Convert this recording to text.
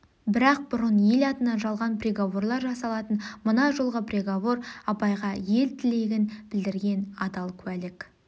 бірақ бұрын ел атынан жалған приговорлар жасалатын мына жолғы приговор абайға ел тілегін білдірген адал куәлік